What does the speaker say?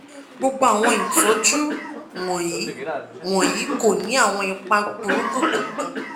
gbogbo awọn itọju wọnyi wọnyi ko ni awọn ipa buruku kan kan